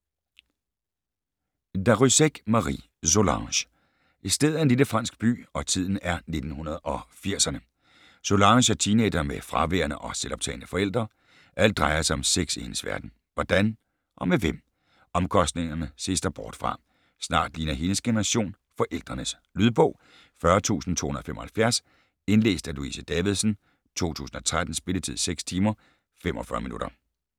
Darrieussecq, Marie: Solange Stedet er en lille fransk by, og tiden er 1980'erne. Solange er teenager med fraværende og selvoptagne forældre. Alt drejer sig om sex i hendes verden. Hvordan? Og med hvem? Omkostningerne ses der bort fra. Snart ligner hendes generation forældrenes. Lydbog 40275 Indlæst af Louise Davidsen, 2013. Spilletid: 6 timer, 45 minutter.